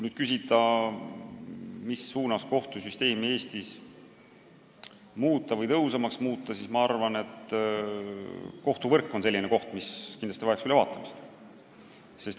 Kui küsida, mis suunas võiks kohtusüsteemi Eestis tõhusamaks muuta, siis ma arvan, et kohtuvõrk vajaks kindlasti analüüsimist.